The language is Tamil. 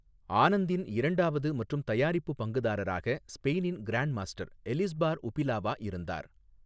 ஆனந்தின் இரண்டாவது மற்றும் தயாரிப்பு பங்குதாரராக ஸ்பெயினின் கிராண்ட் மாஸ்டர் எலிஸ்பார் உபிலாவா இருந்தார்.